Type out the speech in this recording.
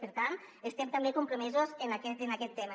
per tant estem també comprome·sos amb aquest tema